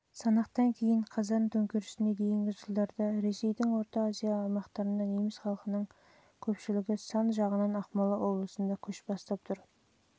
жылғы санақтан кейін қазан төңкерісіне дейінгі жылдарда ресейдің орта азия аймақтарында неміс халқының көпшілігі сан жағынан ақмола облысында